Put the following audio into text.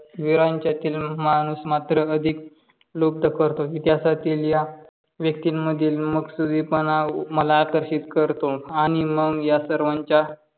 विरातील माणूस मात्र अधिक लुप्त करतो. इतिहासातील या व्यतीमधील मकसुबीपणा मला मला आकर्षित करतो. आणि मग या सर्वांच्या